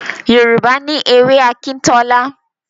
Yorùbá ní èwe Akintola